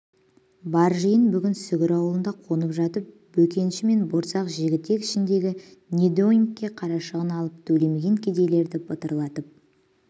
бар жиын бүгін сүгір аулында қонып жатып бөкенші мен борсақ жігітек ішіндегі недоймке қарашығын алым төлемеген кедейлерді бытырлатып